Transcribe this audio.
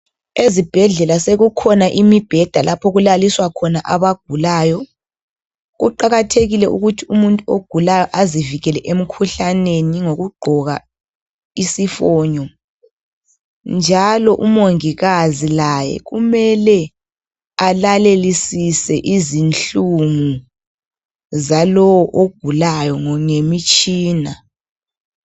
Ezibhedlela sekukhona imibheda lapho okulaliswa khona abagulayo kuqakathekile ukuthi umuntu ogulayo azivikele emikhuhlaneni ngokugqoka isifonyo njalo umongikazi laye kumele alalele izinhlungu zalo ogulayo ngemitshina